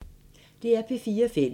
DR P4 Fælles